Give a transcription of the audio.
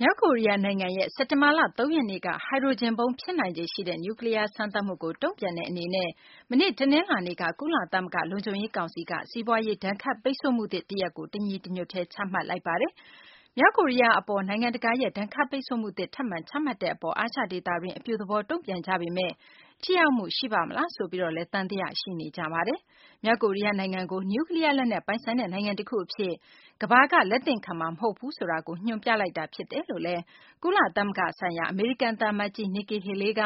မြောက်ကိုရီးယား နိုင်ငံရဲ့ စက်တင်ဘာလ ၃ ရက်နေ့က ဟိုက်ဒရိုဂျင်ဗုံး ဖြစ်နိုင်ခြေ ရှိတဲ့ နျူးကလီးယား စမ်းသပ်မှုကို တုံ့ပြန်တဲ့ အနေနဲ့ မနေ့ တနလာၤနေ့က ကုလသမဂ္ဂ လုံခြုံရေး ကောင်စီကနေ စီးပွားရေး ဒဏ်ခတ်ပိတ်ဆို့မှု အသစ်တရပ်ကို တညီတညွတ်တည်း ချမှတ်လိုက်ပါတယ်။ မြောက်ကိုရီးယား အပေါ် နိုင်ငံတကာရဲ့ ဒဏ်ခတ်ပိတ်ဆို့မှုသစ် ထပ်မံချမှတ်တဲ့ အပေါ် အာရှဒေသတွင်း အပြုသဘောတုံ့ပြန်ကြပေမယ့် ထိရောက်မှု ရှိပါ့မလားဆိုပြီးလည်းသံသယ ရှိနေကြပါတယ်။ မြောက်ကိုရီးယား နိုင်ငံကို နျူးကလီးယား လက်နက် ပိုင်ဆိုင်တဲ့ နိုင်ငံတခု အဖြစ် ကမ္ဘာက လက်သင့်ခံမှာ မဟုတ်ဘူးဆိုတာကို ညွှန်းဆိုနေတာ ဖြစ်တယ်လို့လည်း ကုလသမဂ္ဂ ဆိုင်ရာ အမေရိကန် သံအမတ်ကြီး Nikki Haley က